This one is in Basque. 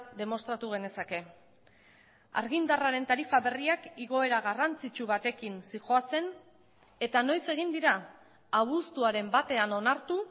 demostratu genezake argindarraren tarifa berriak igoera garrantzitsu batekin zihoazen eta noiz egin dira abuztuaren batean onartu